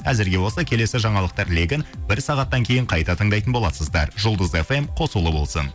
әзірге осы келесі жаңалықтар легін бір сағаттан кейін қайта тыңдайтын боласыздар жұлдыз фм қосулы болсын